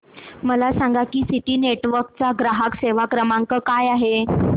मला सांगा की सिटी नेटवर्क्स चा ग्राहक सेवा क्रमांक काय आहे